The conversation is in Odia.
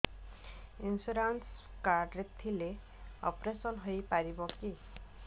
ଇନ୍ସୁରାନ୍ସ କାର୍ଡ ଥିଲେ ଅପେରସନ ହେଇପାରିବ କି